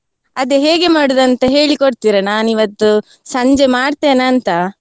ಅದೇ ಹೇಗೆ ಮಾಡುದು ಅಂತ ಹೇಳಿ ಕೊಡ್ತೀರಾ? ನಾನು ಇವತ್ತು ಸಂಜೆ ಮಾಡ್ತೇನಾ ಅಂತ.